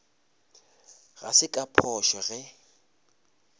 ga se ka phošo ge